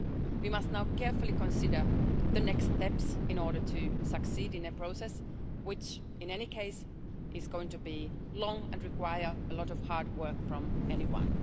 We must now carefully consider the next steps in order to succeed in a process, which, in any case, is going to be long and require a lot of hard work from everyone.